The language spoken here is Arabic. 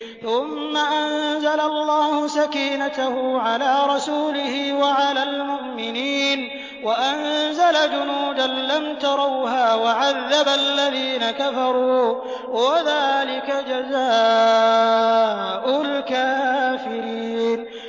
ثُمَّ أَنزَلَ اللَّهُ سَكِينَتَهُ عَلَىٰ رَسُولِهِ وَعَلَى الْمُؤْمِنِينَ وَأَنزَلَ جُنُودًا لَّمْ تَرَوْهَا وَعَذَّبَ الَّذِينَ كَفَرُوا ۚ وَذَٰلِكَ جَزَاءُ الْكَافِرِينَ